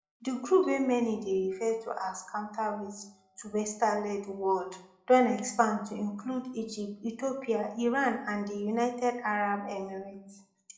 di group wey many dey refer to as counterweight to westernled world don expand to include egypt ethiopia iran and di united arab emirates